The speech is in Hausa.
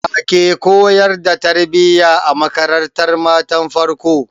Wake koyar da tarbiya a makarantar matan farko?